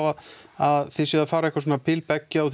að þið séuð að fara bil byggja og